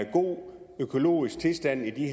god økologisk tilstand i